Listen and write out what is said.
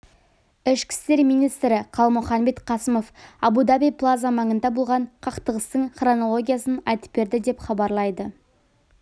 ішкі істер министрі қалмұханбет қасымов абу даби плаза маңында болған қақтығыстың хронологиясын айтып берді деп хабарлайды